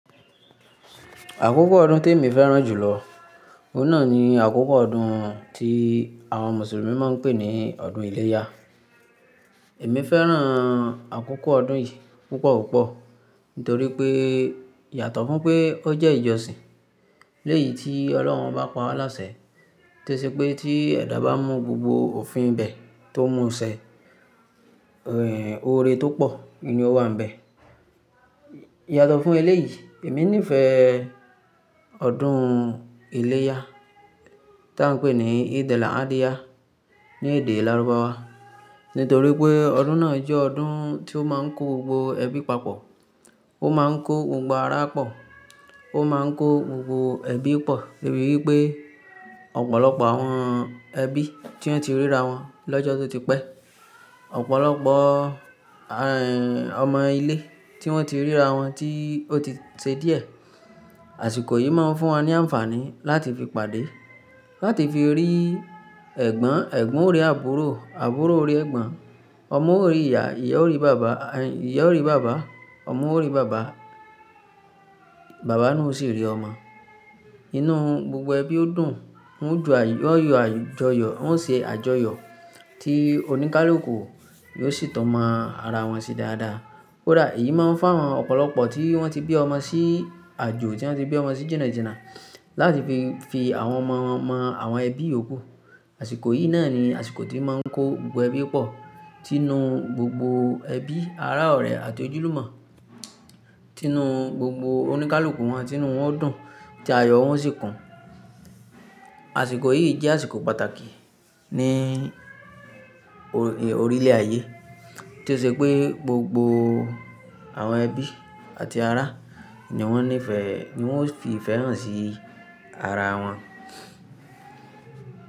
Àkókò ọdún tí èmi fẹ́ràn jù lọ, òun náà ni àkókò ọdún tí àwọn Mùsùlùmí máa ń pè ní ọdún ìlẹ̀ya. Èmi fẹ́ràn àkókò ọdún yìí púpọ̀ púpọ̀ nítorí pé yàtọ̀ fún pé ó jẹ́ ìjọsìn. Lẹ́yìn tí Ọlọ́run bá pa á láṣẹ, tó ṣe pé tí ẹ̀dá bá mu gbogbo òfin ibẹ̀ tó mú ṣẹ, è oore tó pọ̀ ni ó wà níbẹ̀. Yàtọ̀ fún eléyìí, èmi nífẹ̀ẹ́ ọdún ìlẹ̀ya tí à ń pè ní Eid-el-Adha ní èdè lárúbáwá nítorí pé ọdún náà jẹ́ ọdún tí ó máa ń kó gbogbo ẹbí papọ̀. Ó máa ń kó gbogbo ará pọ̀, ó máa ń kó gbogbo ẹbí pọ̀ torí wípé ọ̀pọ̀lọpọ̀ àwọn ẹbí tí wọ́n ti ríra wọn lọ́jọ́ tó ti pẹ́, ọ̀pọ̀lọpọ̀, e, ọmọ ilé tí wọ́n ti ríra wọn tí ó ti ṣe díẹ̀. Àsìkò yìí máa ń fún wa ní àǹfààní láti fi pàdé, láti fi rí ẹ̀gbọ́n, ẹ̀gbọ́n o rí àbúrò, àbúrò o rí ẹ̀gbọ́n, ọmọ o rí ìyá, ìyá o rí bàbá, ìyá o rí bàbá, ọmọ o rí bàbá, bàbá náà o sì rí ọmọ. Inú gbogbo ẹbí ó dùn, wọ́n ń ju ayọ̀, wọ́n ń yọ àjọyọ̀, wọ́n ṣe àjọyọ̀ tí oníkálùkù yóò sì tọ́mọ ara wọn ṣe dáadáa. Kódà èyí máa ń fáwọn ọ̀pọ̀lọpọ̀ tí wọ́n ti bí ọmọ sí àjò, tí wọ́n ti bí ọmọ sí jìna jìna láti fi fi àwọn ọmọ wọn mọ àwọn ẹbí y'òkú. Àsìkò yìí náà ni àsìkò tí máa ń kó gbogbo ẹbí pọ̀, tí inú gbogbo ẹbí, ará, ọ̀rẹ́ àti ojúlùmọ̀, tí inú gbogbo oníkálùkù wọn, tí inú wọn o dùn tí ayọ̀ wọn sì kun. Àsìkò yìí jẹ́ àsìkò pàtàkì ní orí lè ayé. Tó ṣe pé gbogbo àwọn ẹbí àti ará nìwọ́n nífẹ̀ẹ́, nìwọ́n sì ifẹ́ hàn sí ara wọn.